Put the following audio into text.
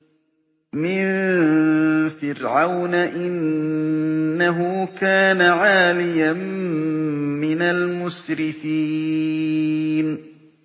مِن فِرْعَوْنَ ۚ إِنَّهُ كَانَ عَالِيًا مِّنَ الْمُسْرِفِينَ